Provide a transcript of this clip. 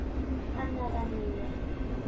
Annað en ég.